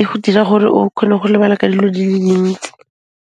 e ho dira gore o khone go lebala ka dilo di le dintsi.